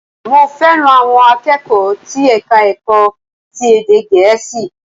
Mo fẹ́ràn àwọn akẹ́kọ̀ọ́ ti ẹ̀ka ẹ̀kọ́ ti ède gèésì